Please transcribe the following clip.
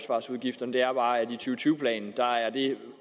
tyve planen